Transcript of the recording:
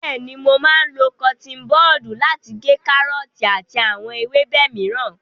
Bẹ́ẹ̀ni, mo máa lo kọtiin bọdu lati gé kárọ́ọ̀tì àti àwọn ewébẹ̀ mìíràn.